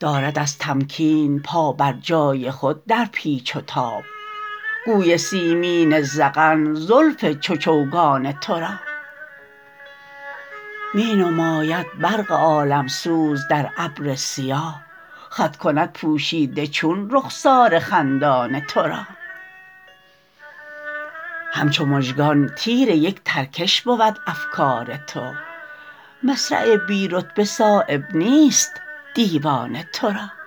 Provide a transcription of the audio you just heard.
دارد از تمکین پا بر جای خود در پیچ و تاب گوی سیمین ذقن زلف چو چوگان ترا می نماید برق عالم سوز در ابر سیاه خط کند پوشیده چون رخسار خندان ترا همچو مژگان تیر یک ترکش بود افکار تو مصرع بی رتبه صایب نیست دیوان ترا